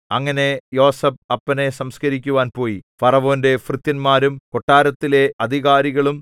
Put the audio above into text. അങ്ങനെ യോസേഫ് അപ്പനെ സംസ്കരിക്കുവാൻ പോയി ഫറവോന്റെ ഭൃത്യന്മാരും കൊട്ടാരത്തിലെ അധികാരികളും